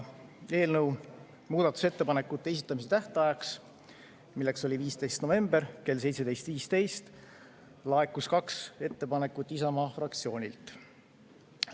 Eelnõu muudatusettepanekute esitamise tähtajaks, mis oli 15. november kell 17.15, laekus kaks ettepanekut Isamaa fraktsioonilt.